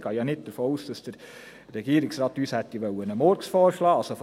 Ich gehe ja nicht davon aus, dass uns der Regierungsrat einen Murks vorschlagen wollte.